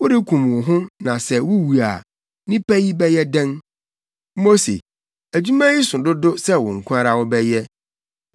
Worekum wo ho na sɛ wuwu a, nnipa yi bɛyɛ dɛn? Mose, adwuma yi so dodo sɛ wo nko ara wobɛyɛ.